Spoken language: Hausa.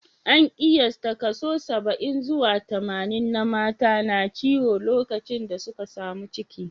An kiyasta kaso saba'in zuwa tamanin na mata na ciwo lokacin da suka samu ciki